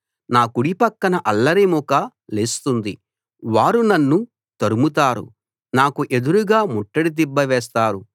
నా కుడిపక్కన అల్లరిమూక లేస్తుంది వారు నన్ను తరుముతారు నాకు ఎదురుగా ముట్టడి దిబ్బ వేస్తారు